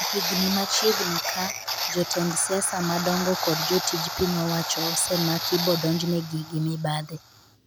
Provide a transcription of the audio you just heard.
e higni machiegni ka jotend siasa madongo kod jotij piny owacho osemaki bodonjne gi gi mibadhi